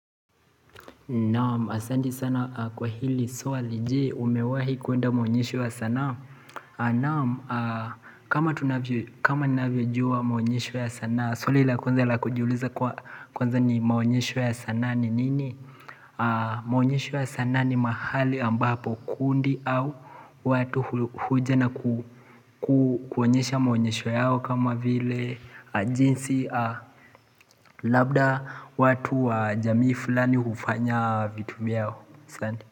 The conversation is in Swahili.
Naam, asanti sana kwa hili swali je umewahi kuenda maonyesho ya sanaa. Naam, kama tunavyojua maonyesho ya sanaa, swali la kwanza la kujiuliza kwa kwanza ni maonyesho ya sanaa ni nini? Maonyesho ya sanaa ni mahali ambapo kundi au watu huja na kuonyesha maonyesho yao kama vile jinsi. Labda watu wa jamii fulani hufanya vitu vyao.